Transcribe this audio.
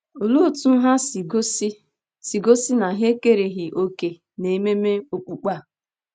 Olee otú ha si gosi si gosi na ha ekereghị òkè n’ememe okpukpe a?